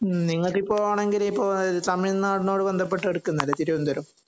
നിങ്ങൾക്ക് എപ്പോ ആണങ്കില് തമിഴ് നാടിനോട് ബന്ധപ്പെട്ട് കിടക്കുന്ന അല്ലേ തിരുവനന്തപുരം